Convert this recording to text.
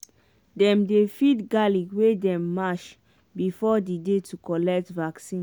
dem dey feed garlic wey dem mash before the day to collect vaccine.